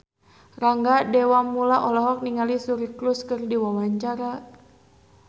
Rangga Dewamoela olohok ningali Suri Cruise keur diwawancara